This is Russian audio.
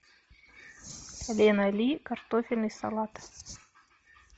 лена ли картофельный салат